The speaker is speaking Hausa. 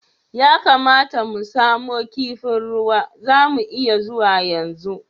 Ya kamata mu samu kifin ruwa, za mu iya zuwa yanzu?